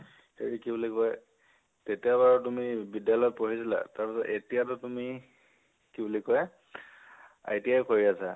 হেৰি, কি বুলি কয়, তেতিয়া বাৰু তুমি বিদ্যালয় ত পৰিছিলা, তাৰপিছত এতিয়া টো তুমি, কি বুলি কয়, ITI কৰি আছা